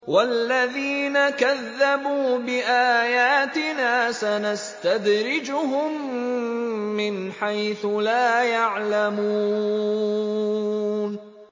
وَالَّذِينَ كَذَّبُوا بِآيَاتِنَا سَنَسْتَدْرِجُهُم مِّنْ حَيْثُ لَا يَعْلَمُونَ